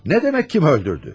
Nə demək kim öldürdü?